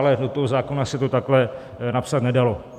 Ale do toho zákona se to takhle napsat nedalo.